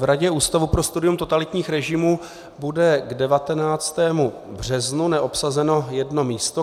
V Radě Ústavu pro studium totalitních režimů bude k 19. březnu neobsazeno jedno místo.